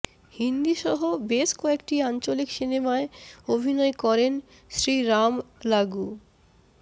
হিন্দিসহ বেশ কয়েকটি আঞ্চলিক সিনেমায় অভিনয় করেন শ্রীরাম লাগু